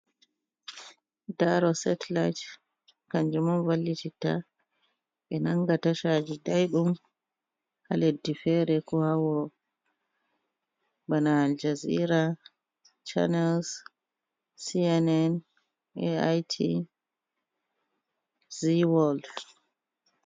Daaro setlyt, kanjum on vallititta ɓe nanga tashaji daiɗum ha leddi feere ko ha wuro bana aljazira, channels, CNN,Ait, zeaworld.